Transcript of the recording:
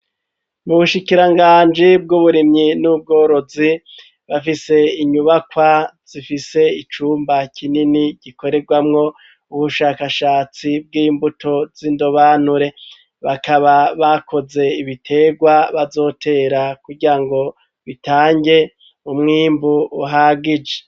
Mu bushikiranganji bw'uburimyi n'ubworozi bafise inyubakwa zifise icumba kinini gikorerwamwo ubushakashatsi bw'imbuto z'indobanure bakaba bakoze ibitegwa bazotera kugira ngo bitange umwimbu uhagije.